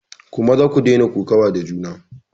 Ku maza ku daina kokawa da juna!